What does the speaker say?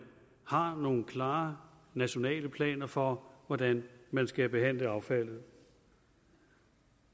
har nogle klare nationale planer for hvordan man skal behandle affaldet